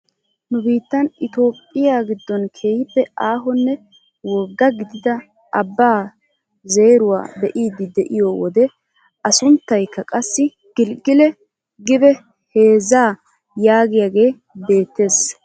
Nu biittan itoophphiyaa giddon keehippe aahonne woggaa gidida abbaa zeeruwaa be'idi de'iyoo wode a sunttayikka qassi gilgel gibee heezzaa yaagiyaage beettees.